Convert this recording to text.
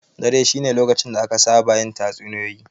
Dare shine lokacin da aka saba yin tatsuniya.